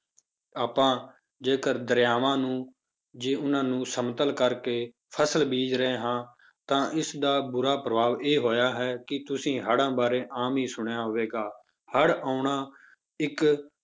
ਆਪਾਂ ਜੇਕਰ ਦਰਿਆਵਾਂ ਨੂੰ ਜੇ ਉਹਨਾਂ ਨੂੰ ਸਮਤਲ ਕਰਕੇ ਫਸਲ ਬੀਜ਼ ਰਹੇ ਹਾਂ ਤਾਂ ਇਸਦਾ ਬੁਰਾ ਪ੍ਰਭਾਵ ਇਹ ਹੋਇਆ ਹੈ ਕਿ ਤੁਸੀਂ ਹੜ੍ਹਾਂ ਬਾਰੇ ਆਮ ਹੀ ਸੁਣਿਆ ਹੋਵੇਗਾ, ਹੜ੍ਹ ਆਉਣਾ ਇੱਕ